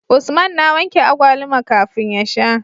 Usman na wanke agwaluma kafin ya sha